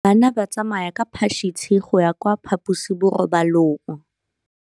Bana ba tsamaya ka phašitshe go ya kwa phaposiborobalong.